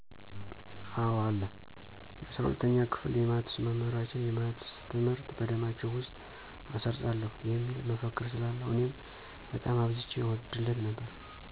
አወ አለ። የ፩፪ኛ ክፍል የማትስ መምህራችን "የማትስ ትምህርት በደማችሁ ውስጥ አሰርጽዋለሁ" የሚል መፈክር ስላለው እኔም በጣም አብዝቼ እወድለት ነበር።